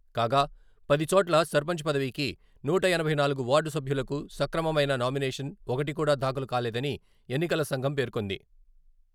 కాగా, పదిచోట్ల సర్పంచ్ పదవికి, నూట ఎనభై నాలుగు వార్డు సభ్యులకు సక్రమమైన నామినేషన్ ఒకటి కూడా దాఖలు కాలేదని ఎన్నికల సంఘం పేర్కొంది.